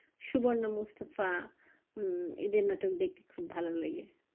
সুবন্ত মুস্তফা উম এদের নাটক দেখতে খুব ভালো লাগে